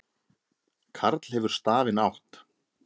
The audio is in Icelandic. Karl hefur stafinn átt.